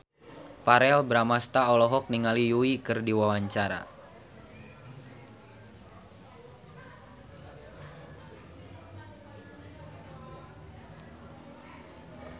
Verrell Bramastra olohok ningali Yui keur diwawancara